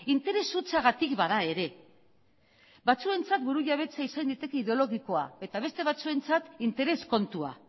interes hutsagatik bada ere batzuentzat burujabetza izan daiteke ideologikoa eta beste batzuentzat interes kontua